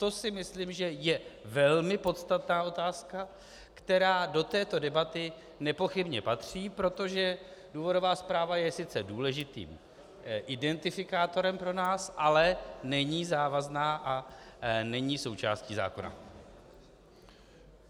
To si myslím, že je velmi podstatná otázka, která do této debaty nepochybně patří, protože důvodová zpráva je sice důležitým identifikátorem pro nás, ale není závazná a není součástí zákona.